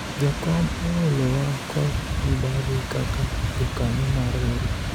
jakom oolowa kod mibadhi kaka jokanyo mar riwruok